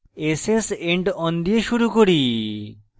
ss endon দিয়ে শুরু করি